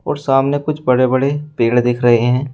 और सामने कुछ बड़े बड़े पेड़ दिख रहे हैं।